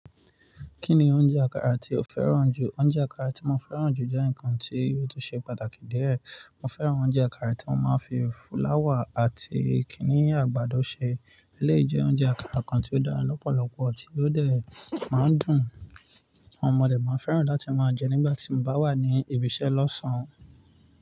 Kí ni oúnjẹ àkàrà tí o fẹ́ràn jù? Oúnjẹ àkàrà tí mo fẹ́ràn jù jẹ́ ǹkan tí ó tó ṣe pàtàkì díẹ̀. Mo fẹ́ràn oúnjẹ àkàrà tí wọ́n máa ń fi flour àti kiní àgbàdo ṣe. Eleyi je ounje àkàrà kan tí ó dára lọ́pọ̀lọpọ̀ àti tó dẹ̀ má ń dùn. Ohun ọmọdé má ń fẹ́ràn láti máa ń jẹ nígbà tí mo bá wà ní ibiṣẹ́ lọ́sàn-án.